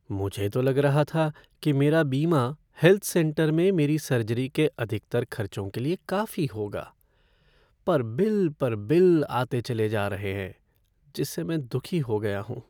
मुझे तो लग रहा था कि मेरा बीमा हेल्थ सेंटर में मेरी सर्जरी के अधिकतर खर्चों के लिए काफी होगा, पर बिल पर बिल आते चले जा रहे हैं जिससे मैं दुखी हो गया हूँ।